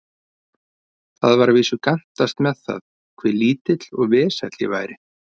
Það var að vísu gantast með það, hve lítill og vesæll ég væri.